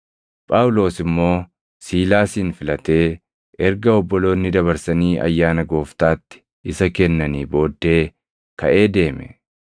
Phaawulos immoo Siilaasin filatee erga obboloonni dabarsanii ayyaana gooftaatti isa kennanii booddee kaʼee deeme.